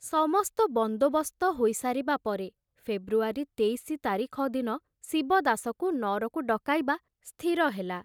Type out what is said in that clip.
ସମସ୍ତ ବନ୍ଦୋବସ୍ତ ହୋଇ ସାରିବା ପରେ ଫେବୃଆରୀ ତେଇଶି ତାରିଖ ଦିନ ଶିବଦାସକୁ ନଅରକୁ ଡକାଇବା ସ୍ଥିର ହେଲା।